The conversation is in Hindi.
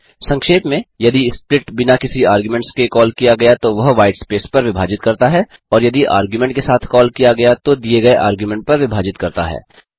संक्षेप में यदि स्प्लिट बिना किसी आर्ग्यूमेंट्स के कॉल किया गया तो यह व्हाईट स्पेस पर विभाजित करता है और यदि आर्ग्युमेंट के साथ कॉल किया गया तो दिए गये आर्ग्युमेंट पर विभाजित करता है